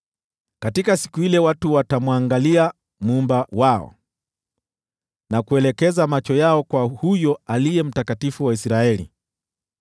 Katika siku ile watu watamwangalia Muumba wao, na kuelekeza macho yao kwa yule Aliye Mtakatifu wa Israeli.